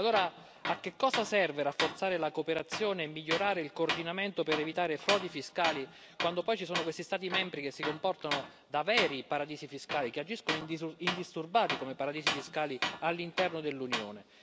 E allora a che cosa serve rafforzare la cooperazione e migliorare il coordinamento per evitare frodi fiscali quando poi ci sono questi Stati membri che si comportano da veri paradisi fiscali, che agiscono in disuso indisturbati come paradisi fiscali all'interno dell'Unione?